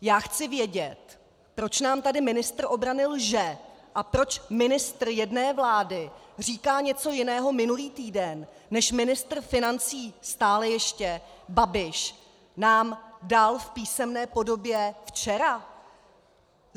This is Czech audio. Já chci vědět, proč nám tady ministr obrany lže a proč ministr jedné vlády říká něco jiného minulý týden, než ministr financí - stále ještě - Babiš nám dal v písemné podobě včera?